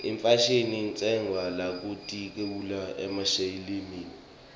ifashini itsenqwa luakitulu umeyeseyilimi